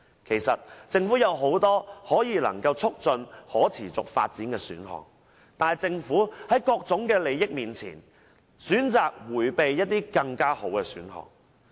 其實政府有很多能夠促進可持續發展的選項，但政府在各種利益面前，選擇迴避這些更好的選項。